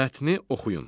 Mətni oxuyun.